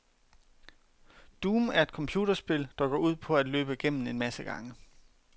Doom er et computerspil, der går ud på at løbe gennem en masse gange.